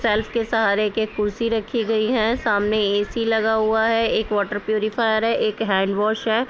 Self के सहारे एक कुर्सी रखी गई है सामने ए.सी. लगा हुआ है। एक वाटर प्यूरीफायर है एक हैंड वाश है।